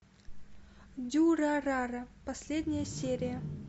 дюрарара последняя серия